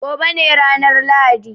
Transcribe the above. Gobe ne ranar Lahadi.